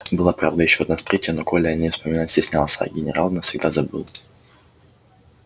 была правда ещё одна встреча но коля о ней вспоминать стеснялся а генерал навсегда забыл